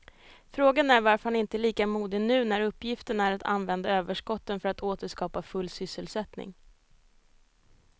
Frågan är varför han inte är lika modig nu när uppgiften är att använda överskotten för att åter skapa full sysselsättning.